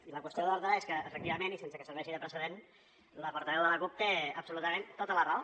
i la qüestió d’ordre és que efectivament i sense que serveixi de precedent la portaveu de la cup té absolutament tota la raó